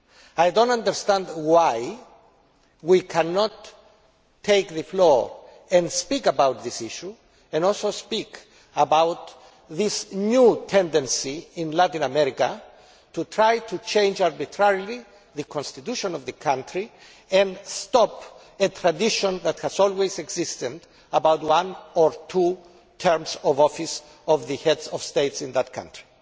I do not understand why we cannot take the floor and speak about this issue and also speak about this new tendency in Latin America to try to change arbitrarily the constitution of the country and stop a tradition that has always existed concerning one or two terms of office of the Head of State in that country.